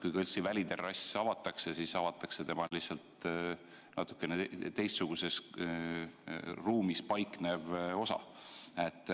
Kui kõrtsi väliterrass avatakse, siis avatakse lihtsalt kõrtsi teistsuguses ruumis paiknev osa.